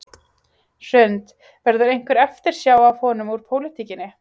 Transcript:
Hrund: Verður einhver eftirsjá af honum úr pólitíkinni?